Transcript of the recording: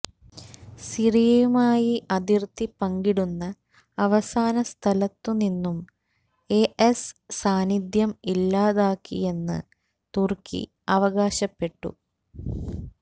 സിറിയയുമായി അതിര്ത്തി പങ്കിടുന്ന അവസാന സ്ഥലത്തുനിന്നും ഐഎസ് സാന്നിധ്യം ഇല്ലാതാക്കിയെന്ന് തുര്ക്കി അവകാശപ്പെട്ടു